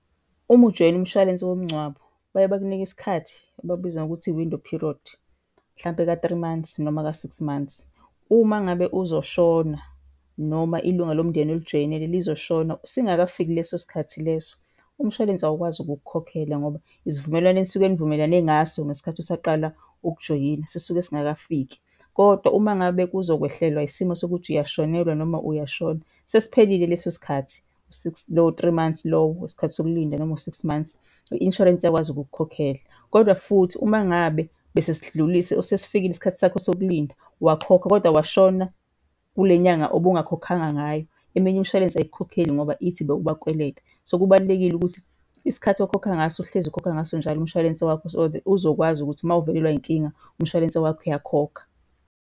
Uma ujoyina umshwalense womngcwabo baye bakunike isikhathi abakubiza ngokuthi i-window period, hlampe eka-three months noma ka-six months. Uma ngabe uzoshona, noma ilunga lomndeni olijoyinele lizoshona singakafiki leso sikhathi leso, umshwalense awukwazi ukukukhokhela ngoba isivumelwane enisuke nivumelane ngaso ngesikhathi usaqala ukujoyina sisuke singakafiki. Kodwa uma ngabe kuzokwehlelwa isimo sokuthi uyashonelwa noma uyashona sesiphelile leso sikhathi u-six, lowo three months lowo wesikhathi sokulinda noma u-six months, i-insurance iyakwazi ukukukhokhela. Kodwa futhi uma ngabe bese sidlulile, sesifikile isikhathi sakho sokulinda wakhokha, kodwa washona kule nyanga obungakhokhanga ngayo, eminye imishwalense ayikukhokheli ngoba ithi bewubakweleta. So kubalulekile ukuthi isikhathi okhokha ngaso uhlezi ukhokha ngaso njalo umshwalense wakho, so that uzokwazi ukuthi mawuvelelwa inkinga umshwalense wakho uyakhokha.